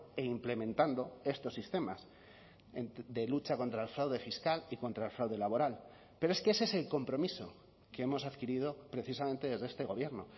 e implementando estos sistemas de lucha contra el fraude fiscal y contra el fraude laboral pero es que ese es el compromiso que hemos adquirido precisamente desde este gobierno